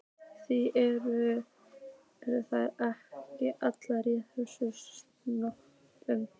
Því eru þeir ekki allir í þessum sporum?